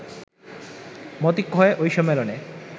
মতৈক্য হয় ওই সম্মেলনে